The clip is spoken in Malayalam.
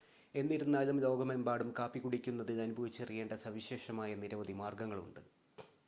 എന്നിരുന്നാലും ലോകമെമ്പാടും കാപ്പി കുടിക്കുന്നതിൽ അനുഭവിച്ചറിയേണ്ട സവിശേഷമായ നിരവധി മാർഗങ്ങളുണ്ട്